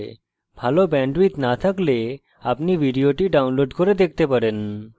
ভাল bandwidth না থাকলে আপনি ভিডিওটি download করে দেখতে পারেন